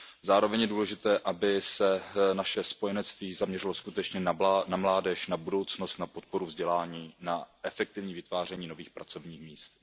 Zároveň je důležité, aby se naše spojenectví zaměřilo skutečně na mládež, na budoucnost, na podporu vzdělání, na efektivní vytváření nových pracovních míst.